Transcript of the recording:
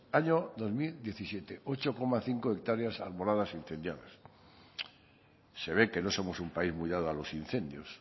año dos mil diecisiete ocho coma cinco hectáreas arboladas incendiadas se ve que no somos un país muy dado a los incendios